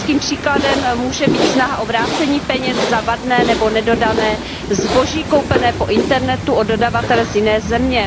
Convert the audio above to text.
Typickým příkladem může být snaha o vrácení peněz za vadné nebo nedodané zboží koupené po internetu od dodavatele z jiné země.